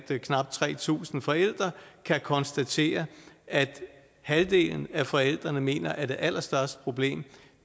knap tre tusind forældre kan konstateres at halvdelen af forældrene mener at det allerstørste problem